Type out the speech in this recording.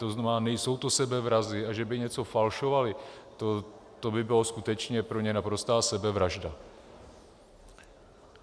To znamená, nejsou to sebevrazi, a že by něco falšovali, to by byla skutečně pro ně naprostá sebevražda.